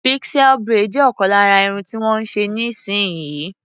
Pixie braid jẹ ọkan lára Irun tí wón ń ṣe níì sin yìí.